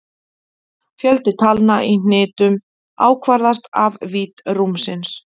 Fjöldi talna í hnitum ákvarðast af vídd rúmsins.